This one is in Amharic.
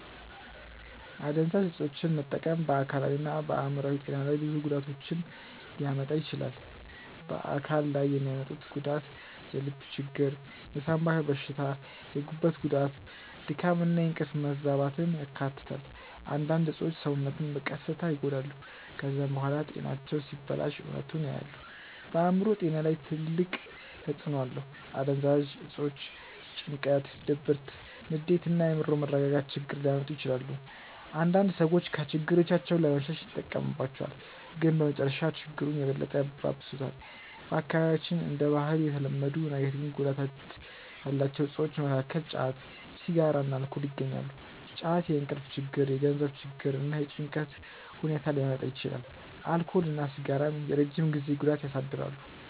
አደንዛዥ እፆችን መጠቀም በአካላዊና በአእምሮአዊ ጤና ላይ ብዙ ጉዳቶችን ሊያመጣ ይችላል። በአካል ላይ የሚያመጡት ጉዳት የልብ ችግር፣ የሳንባ በሽታ፣ የጉበት ጉዳት፣ ድካም እና የእንቅልፍ መዛባትን ያካትታል። አንዳንድ እፆች ሰውነትን በቀስታ ይጎዳሉ። ከዚያ በኋላ ጤናቸው ሲበላሽ እውነቱን ያያሉ። በአእምሮ ጤና ላይም ትልቅ ተጽእኖ አለው። አደንዛዥ እፆች ጭንቀት፣ ድብርት፣ ንዴት እና የአእምሮ መረጋጋት ችግር ሊያመጡ ይችላሉ። አንዳንድ ሰዎች ከችግሮቻቸው ለመሸሽ ይጠቀሙባቸዋል፣ ግን በመጨረሻ ችግሩን የበለጠ ያባብሱታል። በአካባቢያችን እንደ ባህል የተለመዱ ነገር ግን ጉዳት ያላቸው እፆች መካከል ጫት፣ ሲጋራ እና አልኮል ይገኛሉ። ጫት የእንቅልፍ ችግር፣ የገንዘብ ችግር እና የጭንቀት ሁኔታ ሊያመጣ ይችላል። አልኮል እና ሲጋራ የረጅም ጊዜ ጉዳት ያሳድራሉ።